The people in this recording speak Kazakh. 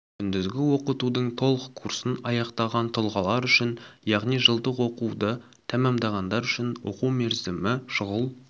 күндізгі оқытудың толық курсын аяқтаған тұлғалар үшін яғни жылдық оқуды тәмәмдағандар үшін оқу мерзімі шұғыл